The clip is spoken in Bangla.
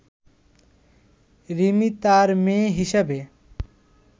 রিমি তার মেয়ে হিসাবে